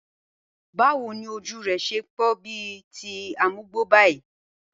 Báwo ni ojú re̩ s̩e ń pó̩n bí i ti amugbo báyìí?